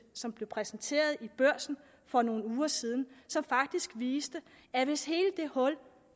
som blev præsenteret i børsen for nogle uger siden som faktisk viste at hvis hele det hul